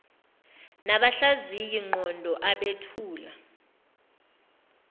nabahlaziyi ngqondo abethula